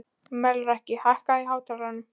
Melrakki, hækkaðu í hátalaranum.